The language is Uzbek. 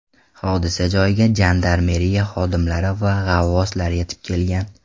Hodisa joyiga jandarmeriya xodimlari va g‘avvoslar yetib kelgan.